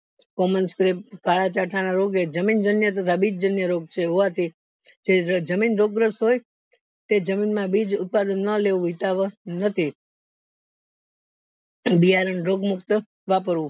Common scrab એ જમીન જાન્ય તથા બીજ અન્ય રોગ હોવાથી જે જમીન રોગ્રસ્થ હોય તે જમીન માં બીજ ઉત્પાદન ના લેવું નથી બિયારણ રોગ મકત વાપરવું